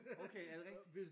Okay er det rigtigt?